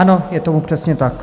Ano, je tomu přesně tak.